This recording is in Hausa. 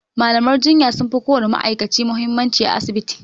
malaman jinya sunfi ko wani ma'aikaci muhimmanci a asibiti